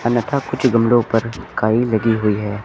अन्यथा कुछ गमलों पर काई लगी हुई है।